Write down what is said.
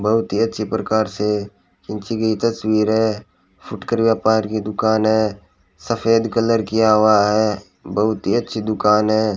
बहुत ही अच्छे प्रकार से खींची गई तस्वीर है फुटकर व्यापार की दुकान है सफेद कलर किया हुआ है बहुत ही अच्छी दुकान है।